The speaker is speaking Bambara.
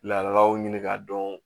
Laadalaw ɲini k'a dɔn